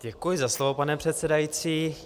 Děkuji za slovo, pane předsedající.